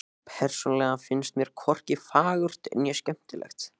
Persónulega finnst mér hvorki fagurt né skemmtilegt.